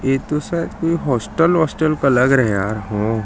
यह तो शायद कोई हॉस्टल वोस्टल का लग रहा है यार हूं।